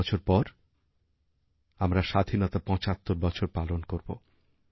পাঁচ বছর পর আমরা স্বাধীনতার ৭৫ বছর পালন করব